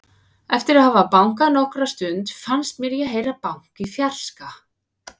Eftir að hafa bankað nokkra stund fannst mér ég heyra bank í fjarska.